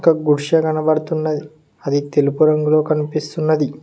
ఒక గుడిసె కనబడుతున్నది అది తెలుపు రంగులో కనిపిస్తున్నది.